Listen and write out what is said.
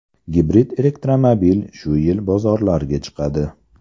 Gibrid elektromobil shu yil bozorlarga chiqadi.